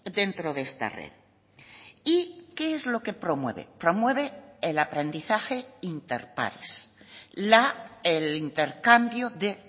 dentro de esta red y qué es lo que promueve promueve el aprendizaje inter pares el intercambio de